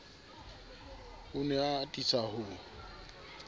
o ne a atisa ho